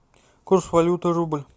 курс валюты рубль